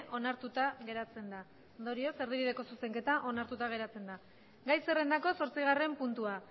onartuta geratzen da ondorioz erdibideko zuzenketa onartuta geratzen da gai zerrendako zortzigarren puntua